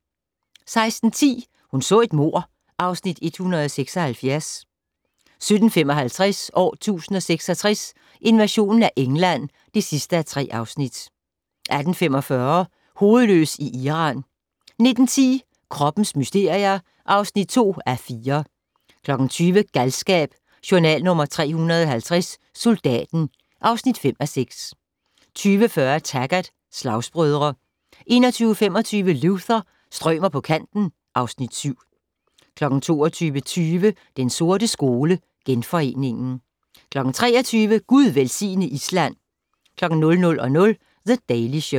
16:10: Hun så et mord (Afs. 176) 17:55: År 1066: Invasionen af England (3:3) 18:45: Hovedløs i Iran 19:10: Kroppens mysterier (2:4) 20:00: Galskab: Journal nr. 350 - Soldaten (5:6) 20:40: Taggart: Slagsbrødre 21:25: Luther - strømer på kanten (Afs. 7) 22:20: Den sorte skole: Genforeningen 23:00: Gud velsigne Island! 00:00: The Daily Show